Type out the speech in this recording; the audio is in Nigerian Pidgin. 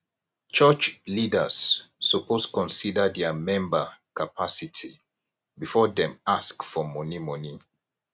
church leaders suppose consider dia member capacity before dem ask for money money